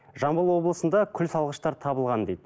жамбыл облысында күл шалғыштар табылған дейді